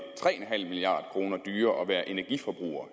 tre en halv milliard kroner dyrere at være energiforbruger